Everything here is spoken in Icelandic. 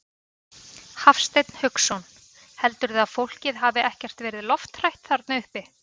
Hafsteinn Hauksson: Heldurðu að fólkið hafi ekkert verið lofthrætt þarna uppi?